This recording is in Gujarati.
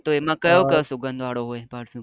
હા તો એમાં ક્ય્યો કયો સુગંધ વાળો હોય.